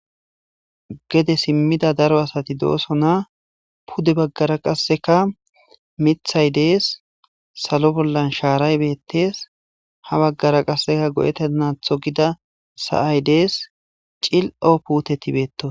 gede simmida daro asati doosona pude baggara qasseka mithay dees salo bollan shaaray bettees ha baggara qasseka go'etenatho gida sa'ay dees cil'o puteti beettosona